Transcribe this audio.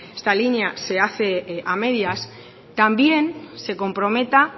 esta línea se hace a medias también se comprometa